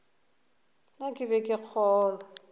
na ke be ke kgolwa